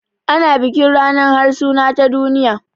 Ana bikin ranar harsuna ta duniya